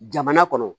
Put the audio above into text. Jamana kɔnɔ